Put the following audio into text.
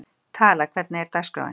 Tala, hvernig er dagskráin?